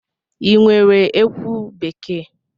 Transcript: Ị nwere ekwu bekee?